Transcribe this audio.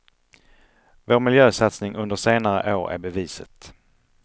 Vår miljösatsning under senare år är beviset.